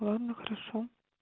ладно хорошо